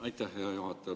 Aitäh, hea juhataja!